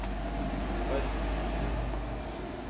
Kaj sem pa naredil?